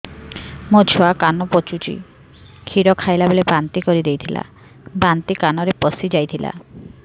ମୋ ଛୁଆ କାନ ପଚୁଛି କ୍ଷୀର ଖାଇଲାବେଳେ ବାନ୍ତି କରି ଦେଇଥିଲା ବାନ୍ତି କାନରେ ପଶିଯାଇ ଥିଲା